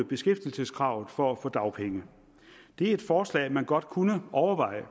beskæftigelseskravet for at få dagpenge det er et forslag man godt kunne overveje